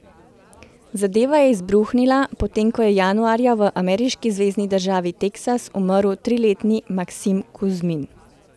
Zadeva je izbruhnila, potem ko je januarja v ameriški zvezni državi Teksas umrl triletni Maksim Kuzmin.